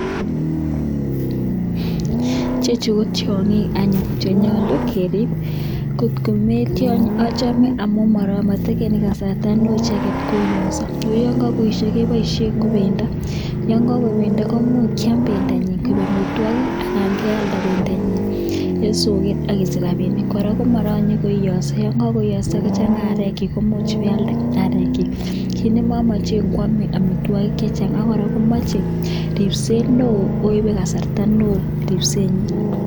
Chechuu kotyangiik chenyaluu kerip amun achame matepchee akoii sikoiiii ako ngealda eng ndonyoo inyoruu rapisheek chechang kiit agenge nemamageen ko yachei keriip akoi ak sait ak sait